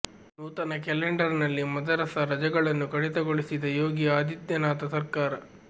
ನೂತನ ಕ್ಯಾಲೆಂಡರ್ ನಲ್ಲಿ ಮದರಸಾ ರಜೆಗಳನ್ನು ಕಡಿತಗೊಳಿಸಿದ ಯೋಗಿ ಅದಿತ್ಯನಾಥ ಸರ್ಕಾರ